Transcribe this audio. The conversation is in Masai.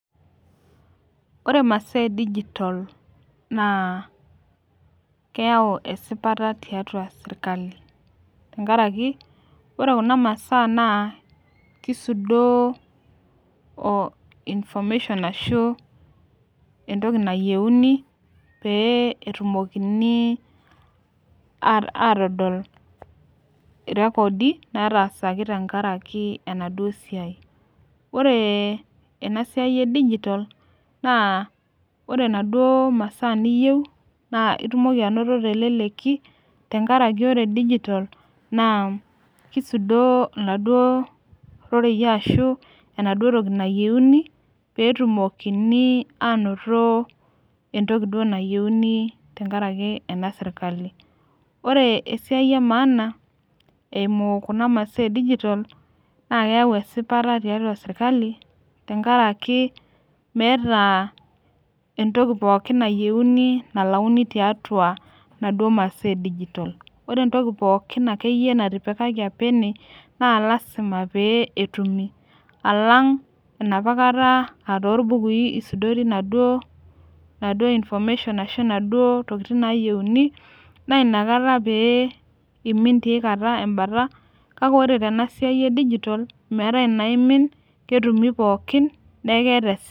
Ore masaa e digital naa keyau esipata tiatua sirkali. tenkaraki ore Kuna masaa naa kisudoo information ashu entoki nayieuni pee etumokinj aatodol irekodi, nataasaki tenkaraki enaduo siai. ore ena siai e digital naa ore enaduoo masaa niyieu naa itumoki atayiolo teleleki. tenkarakj ore digital naa kisudoo oladuoo rorrei ashu enaduoo toki nayieuni, pee etumokini aanoto entoki duo nayieuni tenkaraki ena sirkali. ore esiai emaana eimu Kuna masaa e digital naa keyau esipata tiatua sirkali tenkaraki meeta entoki pookin nayieuni nalauni tiatua inaduoo masaa e digital ore entoki pookin nayieuni akeyie natipikaki apa ene, naa lasima pee etum. alang enapa kata aa tolbukui isudori inaduoo information ashu inaduoo tokitin naayieuni, naa inakata iyieu pee imin teina kata. kake ore tena siai e digital meetae inaimin ketumi pookin neeku keeta.